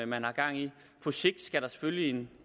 man har gang i på sigt skal der selvfølgelig en